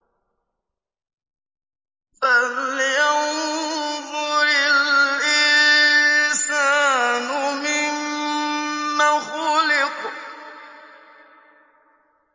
فَلْيَنظُرِ الْإِنسَانُ مِمَّ خُلِقَ